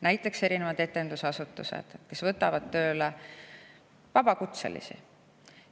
Näiteks etendusasutused võtavad tööle vabakutselisi.